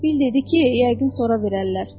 Bill dedi ki, yəqin sonra verərlər.